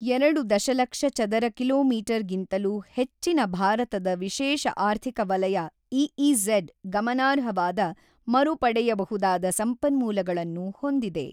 ಎರಡು ದಶಲಕ್ಷ ಚದರ ಕಿಲೋಮೀಟರ್ ಗಿಂತಲೂ ಹೆಚ್ಚಿನ ಭಾರತದ ವಿಶೇಷ ಆರ್ಥಿಕ ವಲಯ ಇಇಝಡ್ ಗಮನಾರ್ಹವಾದ ಮರುಪಡೆಯಬಹುದಾದ ಸಂಪನ್ಮೂಲಗಳನ್ನು ಹೊಂದಿದೆ.